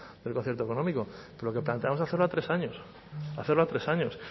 del concierto económico lo que planteamos es hacerlo a tres años hacerlo a tres años